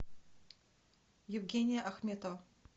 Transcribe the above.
евгения ахметова